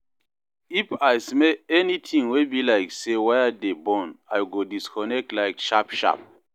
if I smell anytin wey bi like say wire dey burn, I go disconnect light sharp sharp